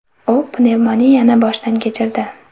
U pnevmoniyani boshdan kechirdi.